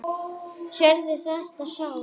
Sérðu þetta sár?